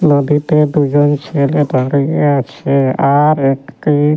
নদীতে দুজন ছেলে দাঁড়িয়ে আছে আর একটি --